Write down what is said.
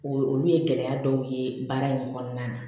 O olu ye gɛlɛya dɔw ye baara in kɔnɔna na